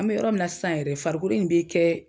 An be yɔrɔ min na sisan yɛrɛ farikolo in be kɛ